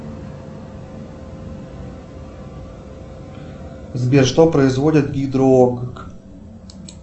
сбер что производит гидроокк